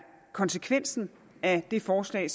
konsekvensen af det forslag